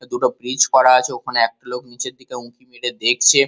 দুটো ব্রিজ করা আছে। ওখানে একটা লোক নিচের দিকে উঁকি মেরে দেখছে।